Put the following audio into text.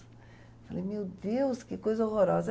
Eu falei, meu Deus, que coisa horrorosa.